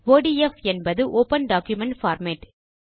ODF என்பது open document format